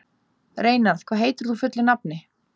Reynarð, hvað heitir þú fullu nafni?